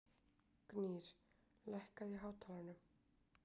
Gnýr, lækkaðu í hátalaranum.